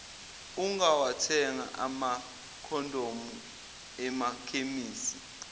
ungawathenga amakhondomu emakhemisi